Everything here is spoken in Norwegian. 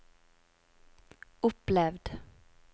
opplevd